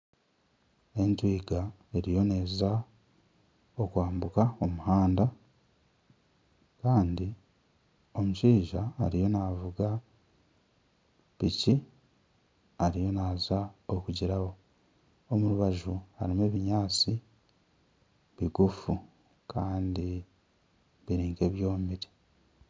Entwiga eriyo neza kwambuka omuhanda Kandi omushaija ariyo navuga piki ariyo naza kugirabaho. Omumbaju harimu ebinyaatsi bigufu Kandi biri nk'ebyomire.